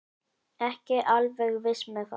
Ekki alveg viss með það.